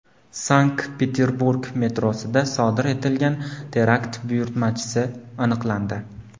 Sankt-Peterburg metrosida sodir etilgan terakt buyurtmachisi aniqlandi.